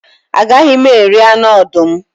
A gaghị m eri anụ ọdụm